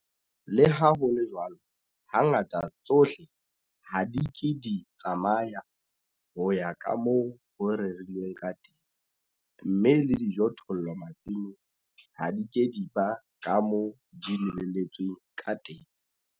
Le ha ho le jwalo, hangata tsohle ha di ke di tsamaya ho ya ka moo ho rerilweng ka teng, mme le dijothollo masimong ha di ke di ba ka moo di lebelletsweng ka teng.